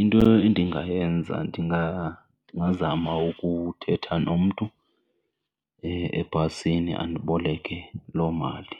Into endingayenza ndingazama ukuthetha nomntu ebhasini andiboleke loo mali